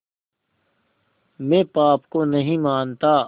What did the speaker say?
मैं पाप को नहीं मानता